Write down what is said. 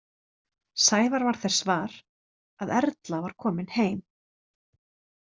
Sævar varð þess var, að Erla var komin heim.